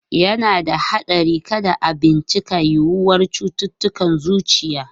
Yana da haɗari kada a bincika yiwuwar cututtukan zuciya.